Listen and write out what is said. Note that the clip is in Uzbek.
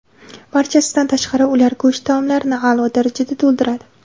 Barchasidan tashqari, ular go‘sht taomlarini a’lo darajada to‘ldiradi.